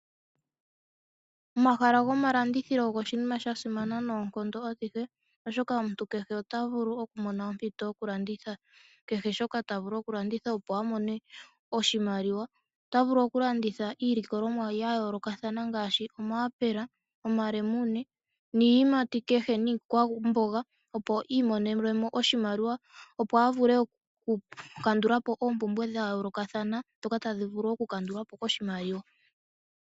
Omahala gomalandithilo ogo oshinima sha simana noonkondo adhihe oshoka omuntu kehe ota vulu mona ompito yo kulandithila , kehe shoka ta vulu oku landitha opo a mone oshimaliwa. Ota vulu oku landitha iilikolomuwa ya yoolokathana ngaashi; omaapela, omalemune niiyimati kehe niikwamboga opo iimonene mo oshimaliwa, opo a vule oku kandulapo oompumbwe dha yoolokathana dhoka tadhi vulu oku kandulwa po koshimaliwa.